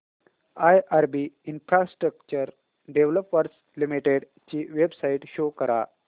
IRB infrastructure developers limited ची website show करा